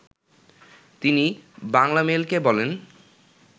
তিনি বাংলামেইলকে বলেন